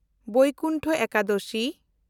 Baikuntha Ekadashi